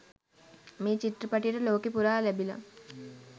මේ චිත්‍රපටියට ලෝකෙ පුරා ලැබිල